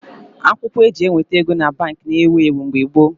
Akwụkwọ eji eweta ego na Baankị na ewu ewu mgbe gboo